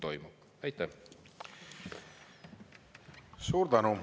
Suur tänu!